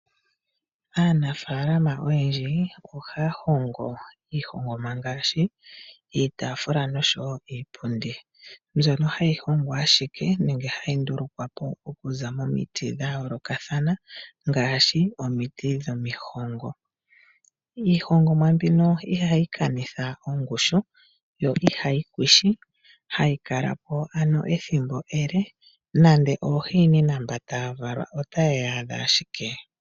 Aanafaalama oyendji ohaya hongo iihongomwa ngaashi iitafula noshowo iipundi mbyono hayi hongwa ashike nenge hayi ndulukwapo okuza momiti dha yoolokathana ngaashi omiti dhomihongo . Iihongomwa mbino ihayi kanitha ongushu yo ihayi kwishi hayi kalapo ano ethimbo ele nande oohiinina mba taya valwa otaye yi adha ashike.